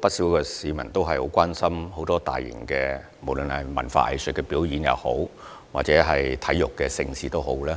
不少市民對大型文化、藝術表演及體育盛事表示